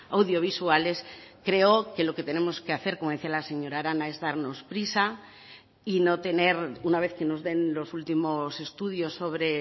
audiovisuales creo que lo que tenemos que hacer como decía la señora arana es darnos prisa y no tener una vez que nos den los últimos estudios sobre